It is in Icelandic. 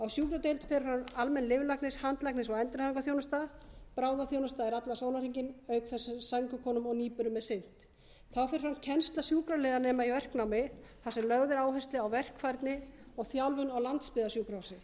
sjúkradeild fer fram almenn lyflækninga handlækninga og endurhæfingarþjónusta bráðaþjónusta er allan sólarhringinn auk þess sem sængurkonum og nýburum er sinnt þá fer fram kennsla sjúkraliðanema í verknámi þar sem lögð er áhersla á verkfærni og þjálfun á landsbyggðarsjúkrahúsi